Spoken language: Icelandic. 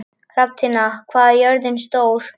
Hrafntinna, hvað er jörðin stór?